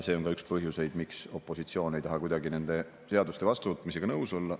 See on ka üks põhjuseid, miks opositsioon ei taha kuidagi nende seaduste vastuvõtmisega nõus olla.